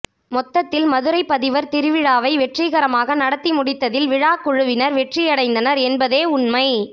மொத்தத்தில் மதுரை பதிவர் திருவிழாவை வெற்றிகரமாக நடத்தி முடித்ததில் விழாக்குழுவினர் வெற்றியடைந்தனர் என்பதே உண்மை